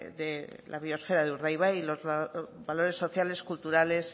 de la biosfera de urdaibai y los valores sociales culturales